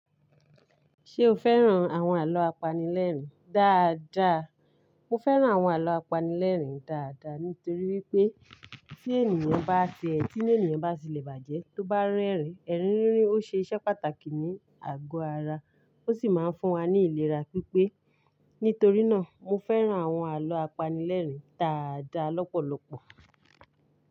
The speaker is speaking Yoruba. Ṣé o fẹ́ràn àwọn àlọ́ apanilẹ́rìn dáadáa? Mo fẹ́ràn àwọn àlọ́ apanilẹ́rìn dáadáa nítorí wípé tí ènìyàn bá ṣe ẹ́, tí inú ènìyàn bá sílẹ̀ bàjẹ́, tó bá ń rẹ́rìn, ẹrin rínrin ó ṣe iṣẹ́ pàtàkì ní àgọ́ ara, ó sì máa ń fún wa ní ìlera pípé. Nítorí náà, mo fẹ́ràn àwọn àlọ́ apanilẹ́rìn dáadáa lọ́pọ̀lọpọ̀.